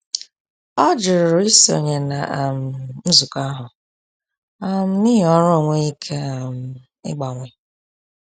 Ọ jụrụ isonye na um nzukọ ahụ um n’ihi ọrụ ọ n'enweghi ike um ịgbanwe.